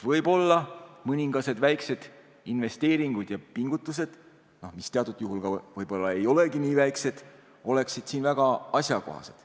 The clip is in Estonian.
Võib-olla mõningased väikesed investeeringud ja pingutused, mis teatud juhul võib-olla ei olegi nii väikesed, oleksid väga asjakohased.